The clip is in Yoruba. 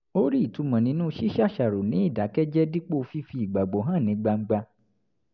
ó rí ìtumọ̀ nínú ṣíṣàṣàrò ní ìdákẹ́jẹ́ẹ́ dípò fífi ìgbàgbọ́ hàn ní gbangba